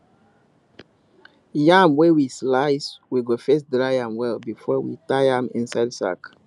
yam wey we slice we go first dry am well before we tie am inside sack